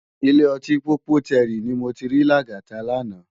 Ilé òtín Pópótèrí ni mó ti ri Lagata làná